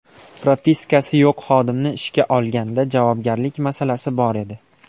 Propiskasi yo‘q xodimni ishga olganda, javobgarlik masalasi bor edi.